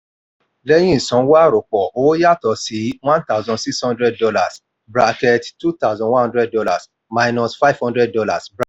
lẹ́yìn ìsanwó àròpọ̀ owó yàtọ̀ sí one thousand six hundred dollars bracket two thousand one hundred dollars minus five hundred dollars